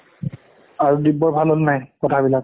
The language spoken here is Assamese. আৰু দিব্য ভাল হ'ল নাই কথা বিলাক